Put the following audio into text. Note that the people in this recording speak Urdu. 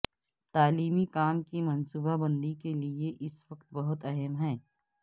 تعلیمی کام کی منصوبہ بندی کے لئے اس وقت بہت اہم ہے